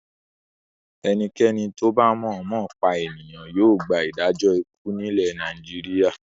Ẹnikẹ́ni tó bá mọ̀ọ́mọ̀ pa ènìyàn yóò gba ìdájọ́ ikú nílẹ̀ Nàìjíríà.